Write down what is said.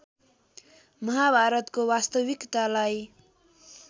महाभारतको वास्तविकतालाई